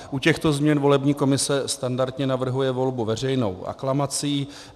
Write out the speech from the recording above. U těchto změn volební komise standardně navrhuje volbu veřejnou aklamací.